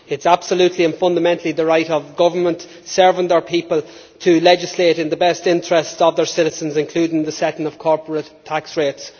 It is absolutely and fundamentally the right of governments serving their people to legislate in the best interests of their citizens, including the setting of corporate tax rates.